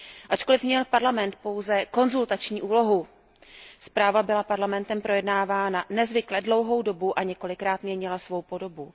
Ačkoliv měl Parlament pouze konzultační úlohu, zpráva byla Parlamentem projednávána nezvykle dlouhou dobu a několikrát měnila svou podobu.